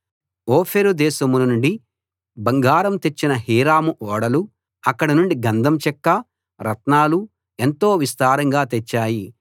ఓఫీరు దేశం నుండి బంగారం తెచ్చిన హీరాము ఓడలు అక్కడి నుండి గంధం చెక్క రత్నాలు ఎంతో విస్తారంగా తెచ్చాయి